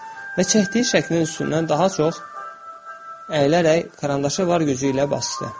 Və çəkdiyi şəklin üstündən daha çox əyilərək karandaşı var gücü ilə basdı.